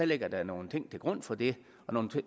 ligger der nogle ting til grund for det nogle